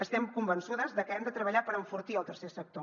estem convençudes de que hem de treballar per enfortir el tercer sector